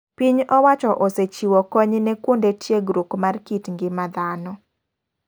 Piny owacho osechiwo kony ne kuonde tiegruok mar kit ng'ima dhano.